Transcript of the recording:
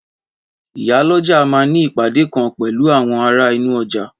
Ìyálọ́jà ma ní ìpàdé kan pẹ̀lú àwọn ará inú ọjà